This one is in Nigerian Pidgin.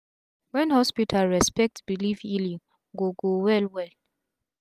wen hospital respect belief healing go go wel wel